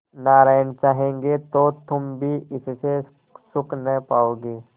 नारायण चाहेंगे तो तुम भी इससे सुख न पाओगे